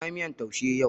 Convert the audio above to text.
Na yi miyan taushe yau